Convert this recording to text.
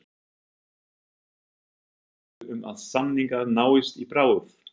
Lillý: Vongóður um að samningar náist í bráð?